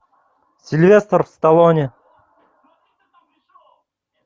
сильвестр сталлоне